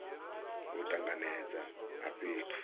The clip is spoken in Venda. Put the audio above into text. a u tanganedza a fhethu